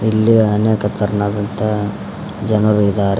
ಇಲ್ಲಿ ಅನೇಕ ತರನಾದಂತಹ ಜನರು ಇದಾರೆ.